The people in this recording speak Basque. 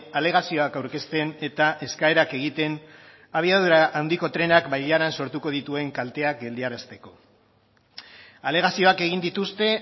alegazioak aurkezten eta eskaerak egiten abiadura handiko trenak bailaran sortuko dituen kalteak geldiarazteko alegazioak egin dituzte